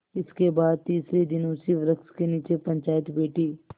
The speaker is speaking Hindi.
इसके बाद तीसरे दिन उसी वृक्ष के नीचे पंचायत बैठी